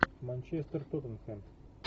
манчестер тоттенхэм